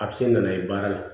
A bɛ se nan'a ye baara la